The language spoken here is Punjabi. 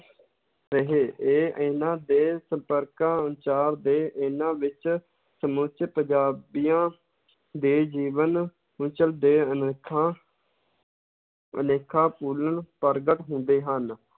ਰਹੇ ਇਹ ਇਹਨਾਂ ਦੇ ਸੰਪਰਕਾਂ ਦੇ ਇਹਨਾਂ ਵਿੱਚ ਸਮੁੱਚੇ ਪੰਜਾਬੀਆਂ ਦੇ ਜੀਵਨ ਦੇ ਅਨੇਕਾਂ ਅਨੇਕਾਂ ਪ੍ਰਗਟ ਹੁੰਦੇ ਹਨ।